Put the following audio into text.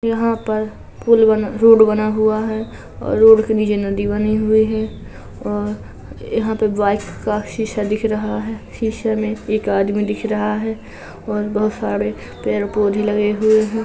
यहाँ पर पुल बना रोड बना हुआ है रोड के नीचे नदी बनी हुई है यहाँ पर शीशा दिख रहा है | शीशे में एक आदमी दिख रहा है और बहोत सारे पेड़ पौधे लगे हुए हैं ।